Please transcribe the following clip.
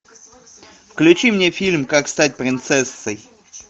включи мне фильм как стать принцессой